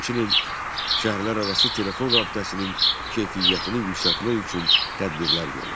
Həmçinin şəhərlərarası telefon rabitəsinin keyfiyyətini yüksəltmək üçün tədbirlər görüldü.